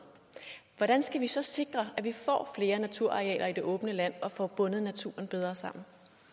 hvordan skal vi så sikre at vi får flere naturarealer i det åbne land og får bundet naturen bedre sammen